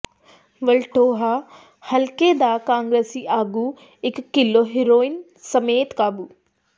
ਵਲਟੋਹਾ ਹਲਕੇ ਦਾ ਕਾਗਰਸੀ ਆਗੂ ਇੱਕ ਕਿਲੋ ਹੈਰੋਇੰਨ ਸਮੇਤ ਕਾਬੂ